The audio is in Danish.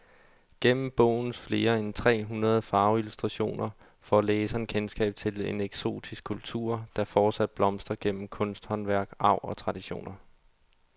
Gennem bogens flere end tre hundrede farveillustrationer får læseren kendskab til en eksotisk kultur, der fortsat blomstrer gennem kunsthåndværk, arv og traditioner.